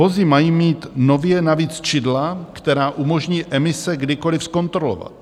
Vozy mají mít nově navíc čidla, která umožní emise kdykoliv zkontrolovat.